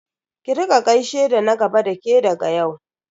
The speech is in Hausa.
Ki rika gaishe da na gaba da ke daga yau.